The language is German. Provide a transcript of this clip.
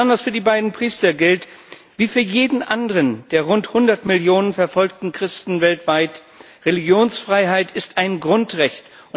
Besonders für die beiden Priester gilt wie für jeden anderen der rund hundert Millionen verfolgten Christen weltweit Religionsfreiheit ist ein Grundrecht.